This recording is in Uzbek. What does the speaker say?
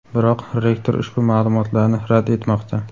Biroq, rektor ushbu ma’lumotlarni rad etmoqda.